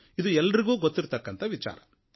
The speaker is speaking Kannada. ಇದು ಎಲ್ಲರಿಗೂ ಗೊತ್ತಿರುವ ವಿಚಾರ